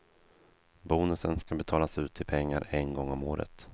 Bonusen ska betalas ut i pengar en gång om året.